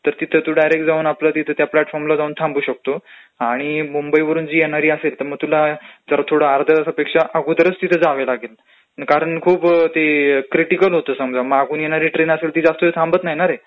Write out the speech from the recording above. तर तिथं तू डायरंक्ट जाऊन आपलं तिथे तू प्लॅटफॉर्मला जाऊन थांबू शकतो आणि मुंबईवरून जी येणारी गाडी असेल तर तुला थोडं अर्ध्यातासापेक्षा अगोदरचं तिथं जाऊन उभ राहावं लागेल. कारण खूप ते क्रिटीकल होतं. समजा मागून योणारी ट्रेन असेल ती जास्त वेळ थांबत नाही ना रे,